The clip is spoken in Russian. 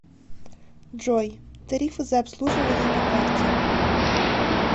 джой тарифы за обслуживание по карте